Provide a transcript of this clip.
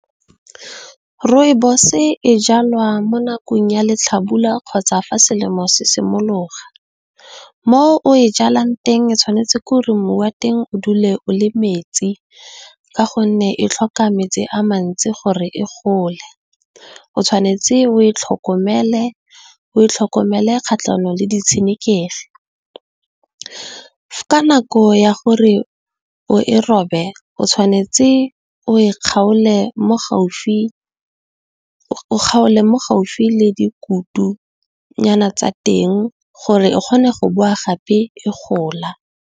Rooibos e jalwa mo nakong ya letlhabula kgotsa, fa selemo se simologa. Mo o e jalwang teng, tshwanetse gore mmu wa teng o dule o le metsi ka gonne, e tlhoka metsi a mantsi gore e gole. O tshwanetse , o e tlhokomele kgatlhanong le di tshenekegi, ka nako ya gore o e robe o tshwanetse o e kgaole mo gaufi le dikutu nyana tsa teng gore e kgone go boa gape e gola.